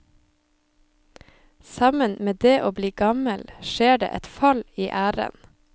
Sammen med det å bli gammel skjer det et fall i æren.